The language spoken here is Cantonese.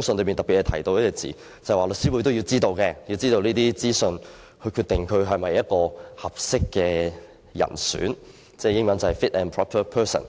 信中特別提到一個用詞，就是律師會必須獲得有關資訊才可決定申請人是否一名適當人士，英文是 "fit and proper person"，